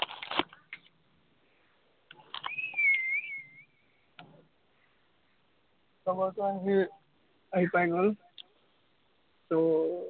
লগৰটো আহিল, আহি পাই গল তো